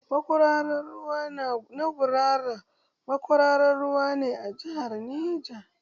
Makwararar ruwa na gurara makwararar ruwa ne a jihar Neja